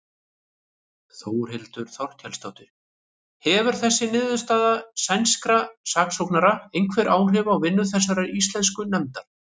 Þórhildur Þorkelsdóttir: Hefur þessi niðurstaða sænskra saksóknara einhver áhrif á vinnu þessarar íslensku nefndar?